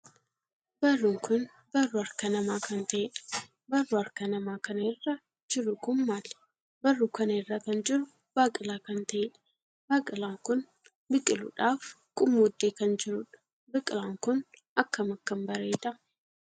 Barruun kun barruu harka namaa kan taheedha. barruu harka namaa kana irra jiruu kun maali? barruu kana irraa kan jiru baaqilaa kan taheedha. baaqilaan kun biqiluudhaaf qummuudee kan jiruudha. baaqilaan Kun akkam akkam bareedaa!